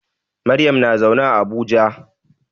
Maryam na zaune a Abuja.